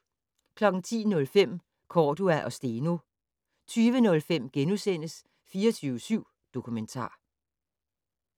10:05: Cordua og Steno 20:05: 24syv Dokumentar *